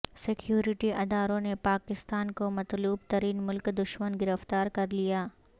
security ادارو ں نےپاکستان کو مطلوب ترین ملک دشمن گرفتار کر لیا